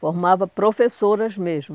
Formava professoras mesmo.